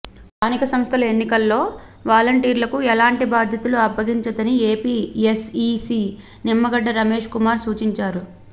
స్థానిక సంస్థల ఎన్నికల్లో వాలంటీర్లకు ఎలాంటి బాధ్యతలు అప్పగించొద్దని ఏపీ ఎస్ఈసీ నిమ్మగడ్డ రమేష్ కుమార్ సూచించారు